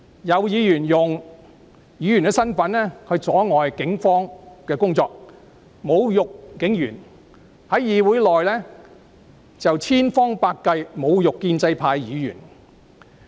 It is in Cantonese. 有議員用其身份阻礙警方工作，侮辱警員；在議會內又不斷找機會侮辱建制派議員。